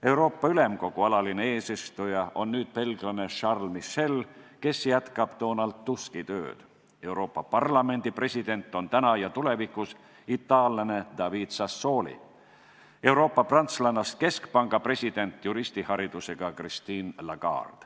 Euroopa Ülemkogu alaline eesistuja on nüüd belglane Charles Michel, kes jätkab Donald Tuski tööd, Euroopa Parlamendi president on täna ja tulevikus itaallane David Sassoli, Euroopa Keskpanga president on juristiharidusega prantslanna Christine Lagarde.